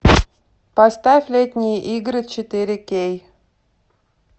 поставь летние игры четыре кей